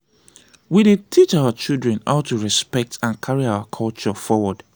we dey teach our children how to respect and carry our culture forward.